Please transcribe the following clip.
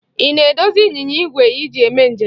Ị na-edozi ịnyịnya igwe i ji eme njem?